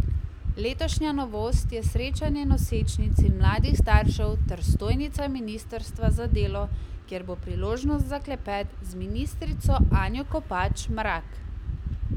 Letošnja novost je srečanje nosečnic in mladih staršev ter stojnica ministrstva za delo, kjer bo priložnost za klepet z ministrico Anjo Kopač Mrak.